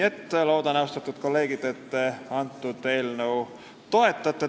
Ma loodan, austatud kolleegid, et te eelnõu toetate.